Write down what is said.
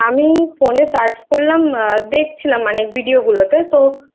আরে হ্যাঁ আমি Phone এ Search করলাম দেখছিলাম মানে Video গুলোতে তো